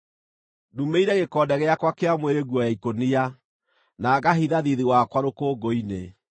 “Ndumĩire gĩkonde gĩakwa kĩa mwĩrĩ nguo ya ikũnia, na ngahitha thiithi wakwa rũkũngũ-inĩ.